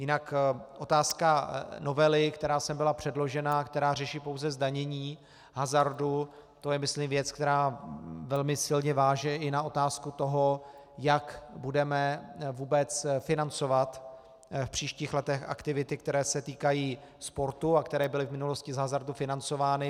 Jinak otázka novely, která sem byla předložena, která řeší pouze zdanění hazardu, to je myslím věc, která velmi silně váže i na otázku toho, jak budeme vůbec financovat v příštích letech aktivity, které se týkají sportu a které byly v minulosti z hazardu financovány.